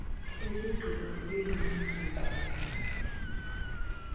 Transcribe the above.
ukugqiba kwenu nizogqume